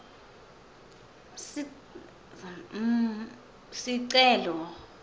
cm sicelo